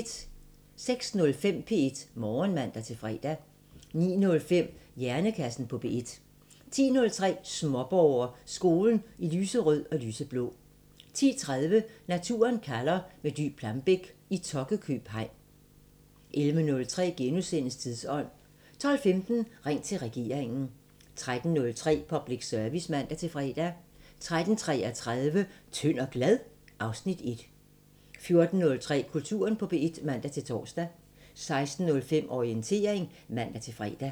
06:05: P1 Morgen (man-fre) 09:05: Hjernekassen på P1 10:03: Småborger: Skolen i lyserød og lyseblå 10:30: Naturen kalder – med Dy Plambeck i Tokkekøb hegn 11:03: Tidsånd * 12:15: Ring til regeringen 13:03: Public Service (man-fre) 13:33: Tynd og glad? (Afs. 1) 14:03: Kulturen på P1 (man-tor) 16:05: Orientering (man-fre)